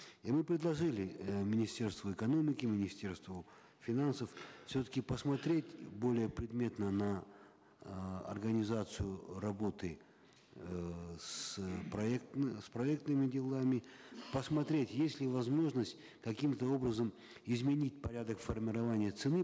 и мы предложили э министерству экономики министерству финансов все таки посмотреть более предметно на э организацию работы эээ с с проектными делами посмотреть есть ли возможность каким то образом изменить порядок формирования цены